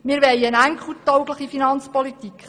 Wir wollen eine enkeltaugliche Finanzpolitik.